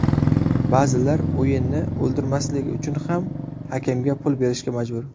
Ba’zilar o‘yinni ‘o‘ldirmasligi’ uchun ham hakamga pul berishga majbur.